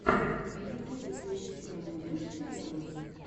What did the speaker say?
на ютубе ты найдешь у себя сериалы